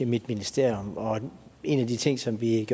mit ministerium og en af de ting som vi